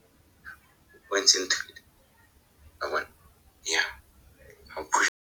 wa bona? Eya .